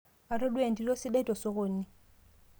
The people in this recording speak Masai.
atodua entito sidai te sokoni